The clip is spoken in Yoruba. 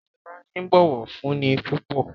Shola ní bó ọwọ fún ní púpọ.